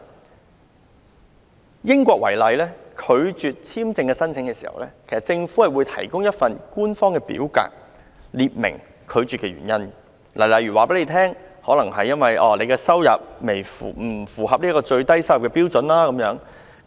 以英國為例，當地政府如拒絕簽證申請，會提供一份官方表格列明拒絕的理由，例如告訴申請人其收入未符合最低標準等。